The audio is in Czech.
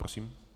Prosím.